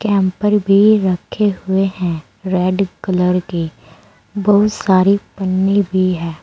Camper भी रखे हुए हैं रेड कलर के बहुत सारी पन्नी भी है।